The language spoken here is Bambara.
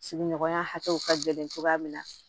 Sigiɲɔgɔnya hakɛw ka gɛlɛn cogoya min na